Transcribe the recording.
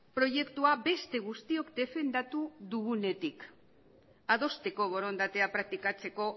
proiektua beste guztiok defendatu dugunetik adosteko borondatea praktikatzeko